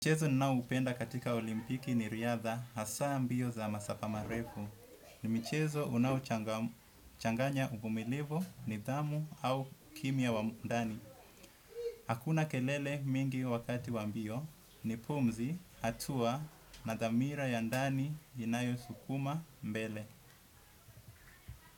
Mchezo ninaopenda katika olimpiki ni riadha hasa mbio za masafa marefu. Ni michezo unaochanganya uvumilivu nidhamu au kimya wa ndani. Hakuna kelele mingi wakati wa mbio ni pumzi hatua na dhamira ya ndani inayosukuma mbele.